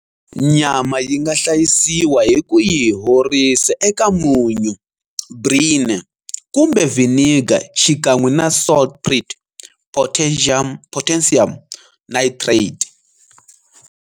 Nyama yi nga hlayisiwa hi ku yi horisa eka munyu, brine, kumbe vinegar xikan'we na saltpetre, potassium nitrate.